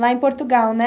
Lá em Portugal, né?